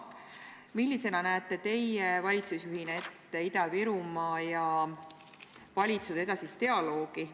Millisena näete teie valitsusjuhina ette Ida-Virumaa ja valitsuse edasist dialoogi?